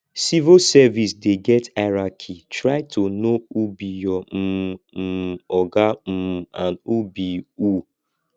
civil service dey get hierarchy try to know who be your um um oga um and who be who